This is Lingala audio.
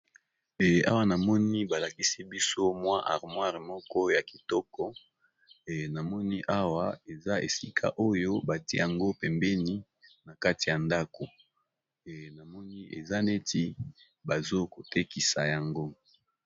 Awa namoni balakisi biso mwa armoire moko ya kitoko namoni awa eza esika oyo batiyango pembeni na kati ya ndako namoni eza neti bazokotekisa yango.